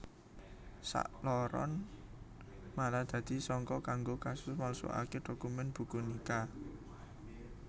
Sakloron malah dadi sangka kanggo kasus malsukaké dokumen buku nikah